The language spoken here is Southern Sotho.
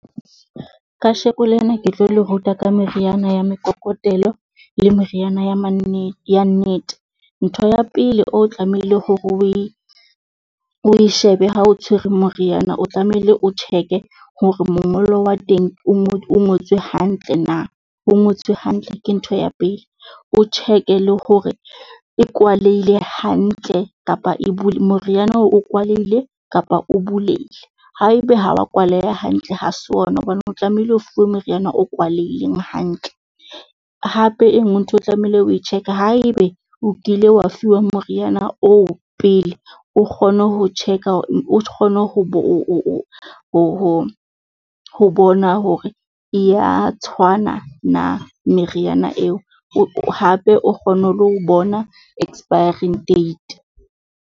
Kasheko lena ke tlo le ruta ka meriana ya mekokotelo le meriana ya manne ya nnete. Ntho ya pele o tlamehile hore oe oe shebe ha o tshwerwe moriana o tlamehile o check-e hore mongolo wa teng o o ngotswe hantle na. O ngotswe hantle ke ntho ya pele o check-e, le hore e kwaleile hantle kapa e bule, moriana o kwaleile kapa o bulehile. Haebe ha wa kwaleha hantle, ha se ona hobane o tlamehile o fuwe moriana o kwalehileng hantle. Hape e nngwe ntho e tlamehile o e check-e, haebe o kile wa fiwa moriana oo pele o kgone ho check-a. O kgone ho bona hore e ya tshwana na meriana eo hape o kgone le ho bona expiring date.